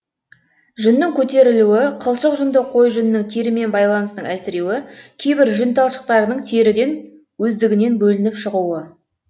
жүннің көтерілуі қылшық жүнді қой жүнінің терімен байланысының әлсіреуі кейбір жүн талшықтарының теріден өздігінен бөлініп шығуы